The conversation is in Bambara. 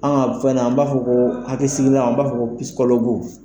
An ka fɛn nin an b'a fɔ ko hakɛsigilan an b'a fɔ ko